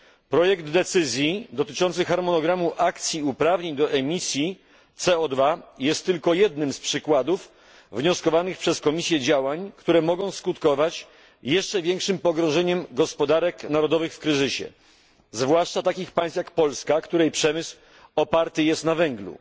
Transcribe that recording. Projekt decyzji dotyczącej harmonogramu akcji uprawnień do emisji CO jest tylko jednym z przykładów wnioskowanych przez Komisję działań, które mogą skutkować jeszcze większym pogrążeniem gospodarek narodowych w kryzysie, zwłaszcza takich państw jak Polska, której przemysł oparty jest na węglu.